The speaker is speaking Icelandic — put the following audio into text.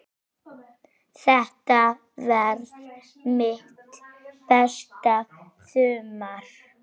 Þetta varð mitt besta sumar.